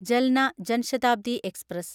Jalna Jan Shatabdi express